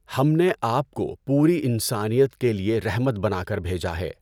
ہم نے آپ کو پوری انسانیت کے لیے رحمت بنا کر بھیجا ہے۔